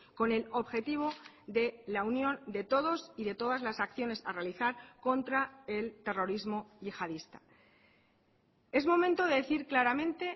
con el objetivo de la unión de todos y de todas las acciones a realizar contra el terrorismo yihadista es momento de decir claramente